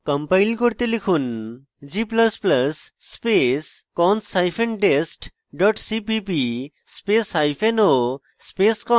compile করতে লিখুন g ++ space cons hyphen dest dot cpp spaceo space cons